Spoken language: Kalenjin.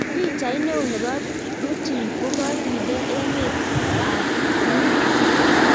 Pichait neo neboo Putin kokakindee emeet al new york